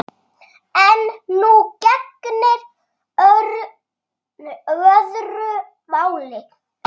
En nú gegnir öðru máli.